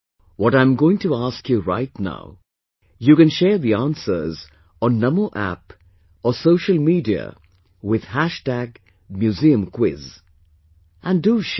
What I am going to ask you right now, you can share the answers on NaMo App or social media with MuseumQuiz... and do share